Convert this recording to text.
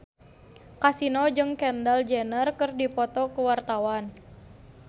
Kasino jeung Kendall Jenner keur dipoto ku wartawan